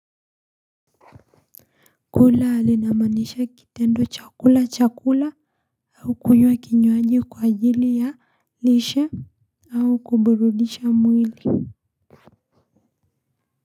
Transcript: Kula linamaanisha kitendo cha kula chakula au kunywa kinywaji kwa ajili ya lishe au kuburudisha mwili.